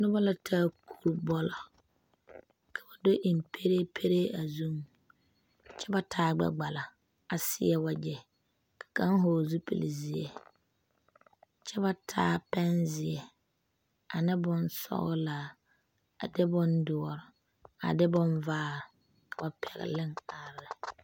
Nobɔ la taa kubɔlɔ ka do eŋ pɛree pɛree a zuŋ kyɛ ba taa gbɛ gbala a seɛ wagyɛ ka kaŋ hɔɔle zupile zeɛ kyɛ ba taa pɛn zeɛ ane bonsɔglaa a de bondoɔre a de bonvaare ka ba pɛgle are ne.